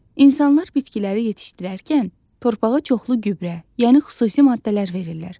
İnsanlar bitkiləri yetişdirərkən torpağa çoxlu gübrə, yəni xüsusi maddələr verirlər.